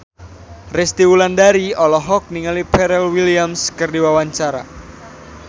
Resty Wulandari olohok ningali Pharrell Williams keur diwawancara